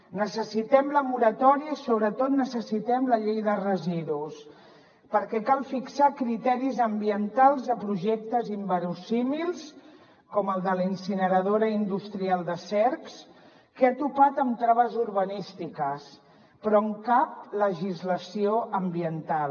necessitem la moratòria i sobretot necessitem la llei de residus perquè cal fixar criteris ambientals a projectes inversemblants com el de la incineradora industrial de cercs que ha topat amb traves urbanístiques però amb cap legislació ambiental